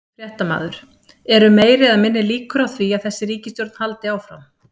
Fréttamaður: Eru meiri eða minni líkur á því að þessi ríkisstjórn haldi áfram?